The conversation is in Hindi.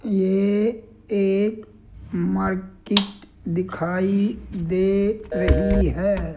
ये एक मार्केट दिखाई दे रही है।